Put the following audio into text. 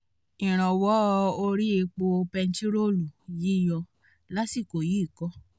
ìrànwọ́ orí epo bẹntiróòlù yíyọ lásìkò yìí kọ́